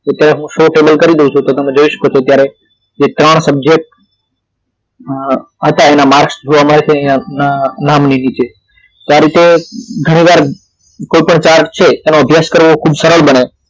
અત્યારે હું show table કરી દવ છું તો તમે જોય શકો છો અત્યારે કે ત્રણ subject અ હતા એના માર્કસ જોવા મળે છે અહિયાં નામ ની નીચે તો આ રીતે ઘણી વાર કોઈ પણ ચાર્ chart એનો અભ્યાસ કરવો ખૂબ સરળ બને